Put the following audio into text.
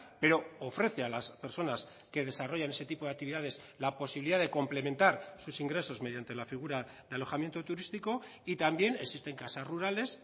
pero ofrece a las personas que desarrollan ese tipo de actividades la posibilidad de complementar sus ingresos mediante la figura de alojamiento turístico y también existen casas rurales